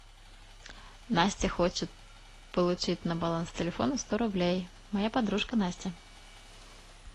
настя хочет получить на баланс телефона сто рублей моя подружка настя